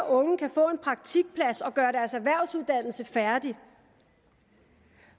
unge kan få en praktikplads og gøre deres erhvervsuddannelse færdig